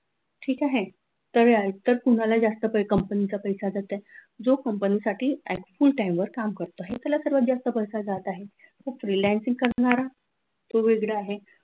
ठीक आहे तर तुम्हाला जास्त company चा पैसा जातोय जो company साठी full time वर काम करतो आहे त्याला सर्वात जास्त पैसा जात आहे freelancing करणारा तो वेगळा आहे.